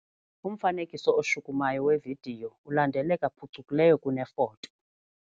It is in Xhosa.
Umfanekiso oshukumayo wevidiyo ulandeleka phucukileyo kunefoto.